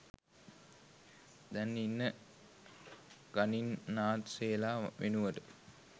දැන් ඉන්න ගනින්නාන්සෙලා වෙනුවට